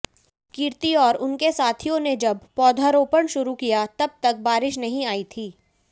कीर्ति और उनके साथियों ने जब पौधारोपण शुरू किया तब तक बारिश नहीं आई थी